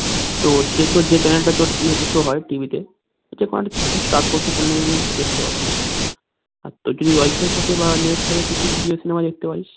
তোর যে তোর যে channel টা তোর ইয়া কিসে হয় TV তে star sports এর channel এ গিয়ে কিন্ত দেখতে পারিস তোর যদি WIFI থাকে বা net থাকে তুই তো jio cinema দেখতে পারিস